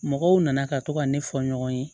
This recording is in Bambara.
Mɔgɔw nana ka to ka ne fɔ ɲɔgɔn ye